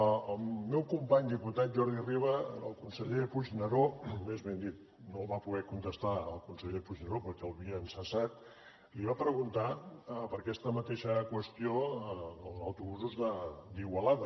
el meu company diputat jordi riba al conseller puigneró més ben dit no li va poder contestar el conseller puigneró perquè l’havien cessat li va preguntar per aquesta mateixa qüestió als autobusos d’igualada